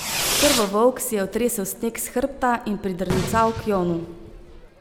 Krvovolk si je otresel sneg s hrbta in pridrncal k Jonu.